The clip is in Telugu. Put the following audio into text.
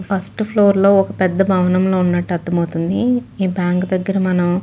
ఫిరసి ఫ్లోర్ లో ఒక పెద్ద బాహావనం లో ఉన్నట్టు అర్దమవుతుంది. ఈ బ్యాంక్ దగ్గర మనం--